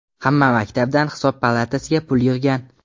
Hamma maktabdan Hisob palatasiga pul yig‘gan.